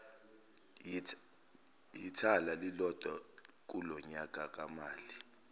yithala lilodwa kulonyakamali